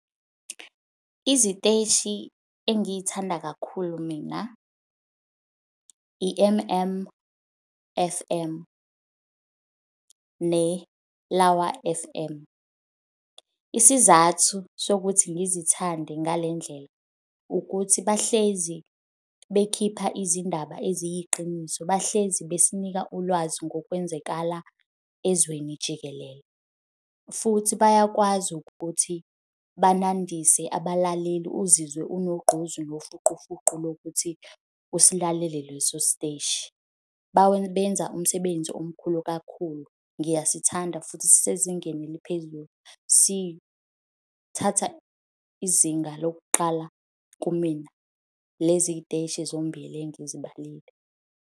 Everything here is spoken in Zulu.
Iziteshi engiy'thanda kakhulu mina i-M_M F_M neLawa F_M. Isizathu sokuthi ngizithande ngale ndlela ukuthi bahlezi bekhipha izindaba eziyiqiniso, bahlezi besinika ulwazi ngokwenzakala ezweni jikelele futhi bayakwazi ukuthi banandise abalaleli, uzizwe unogqozi lofuqufuqu lokuthi usilalele leso siteshi. Benza umsebenzi omkhulu kakhulu. Ngiyasithanda futhi sisezingeni eliphezulu. Sithatha izinga lokuqala kumina leziy'teshi zombili engizibalile.